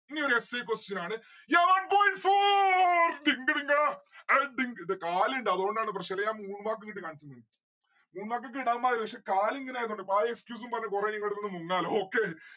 ഇനിയൊരു essay question ആണ്. ya one point four ഡിങ്ക ഡിങ്കാ അയി ഡിങ്ക ഡിക് എന്റെ കാലിണ്ട്‌ അതോണ്ടാണ് പ്രശ്നം അല്ലേൽ ആ moonwalk ഇങ്ങട്ട് കാണിച്ചെന്നെ moonwalk ഒക്കെ ഇടാമായിരുന്നു പക്ഷെ കാലിങ്ങന ആയതോണ്ട് ഇപ്പൊ ആ excuse ഉം പറഞ് നിങ്ങളെടുത്തുന്നു മുങ്ങാലോ okay